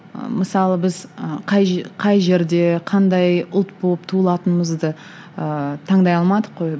ы мысалы біз ы қай қай жерде қандай ұлт болып туылатынымызды ыыы таңдай алмадық қой